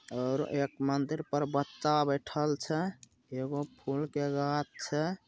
और एक मंदिर पर बच्चा बेठल छे एगो फुल के गाछ छे।